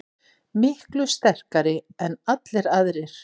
Miklu sterkari en allir aðrir.